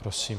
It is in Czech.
Prosím.